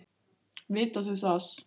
Vita þau það?